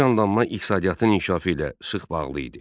Bu canlanma iqtisadiyyatın inkişafı ilə sıx bağlı idi.